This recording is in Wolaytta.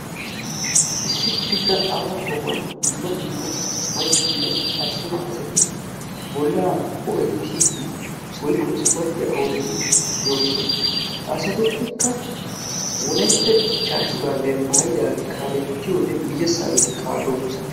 Issi pidda aaho sohuwan dumma dumma maccanne attuma asati bolla hoe'ttidi woykko ispportyiya oottidi doossona, ha asatuppekka wolaytta dichchaa shuraabiya maayidaagee kaalettiyodde guyessageti kaalosona.